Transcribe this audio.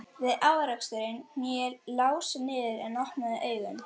Við áreksturinn hné Lási niður en opnaði augun.